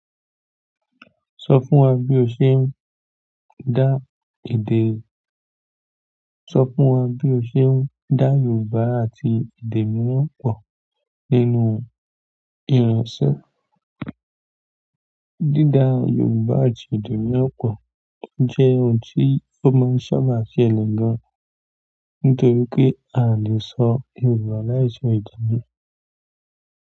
Sọ fún wa bí o ṣe ń dá èdè. Sọ fún wa bí o ṣe ń dá Yorùbá àti èdè mìíràn pọ̀ nínú ìránṣẹ. Dída Yorùbá àti èdè mìíràn pọ̀ jẹ́ ohun tí ó máa ń ṣaba sẹlẹsm gan nítorí pé a lè sọ Yorùbá láìsí èdè mìí.